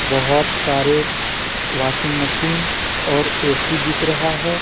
बहोत सारे washing machine और ए_सी बिक रहा है।